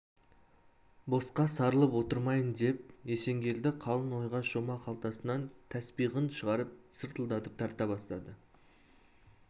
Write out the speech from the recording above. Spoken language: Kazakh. босқа сарылып отырмайын деп есенгелді қалың ойға шома қалтасынан тәспиғын шығарып сыртылдатып тарта бастады